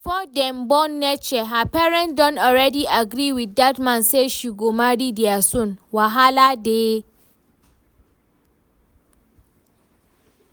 Before dem born Neche her parents don already agree with dat man say she go marry dia son, wahala dey